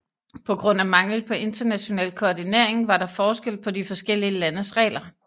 På grund af mangel på international koordinering var der forskel på de forskellige landes regler